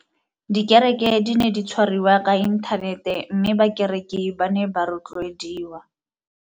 Dikereke di ne di tshwariwa ka inthanete mme bakereki ba ne ba rotloediwa.